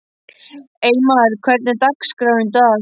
Eymar, hvernig er dagskráin í dag?